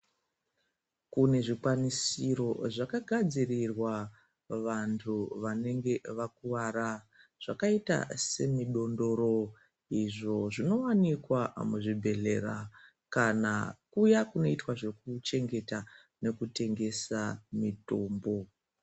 Kune zvikwanisiro zvakagadzirirwa vantu wanenge wakuwara zvakaita semidondoro. Izvo zvinowanikwa muzvibhedhlera kana kuya kunoitwa zvekuchengeta nekutengesa mitumbu.